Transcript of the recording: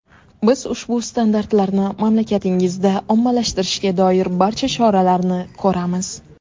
Biz ushbu standartlarni mamlakatingizda ommalashtirishga doir barcha choralarni ko‘ramiz.